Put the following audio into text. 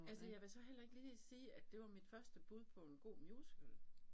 Altså jeg vil så heller ikke lige sige at det var mit første bud på en god musical